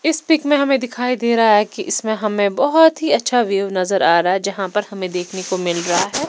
इस पिक में हमें दिखाई दे रहा है कि इसमें हमें बहुत ही अच्छा वेव नजर आ रहा है यहाँ पर हमें देखने को मिल रहा है।